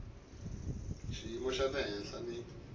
xiyimo xa le henhla ni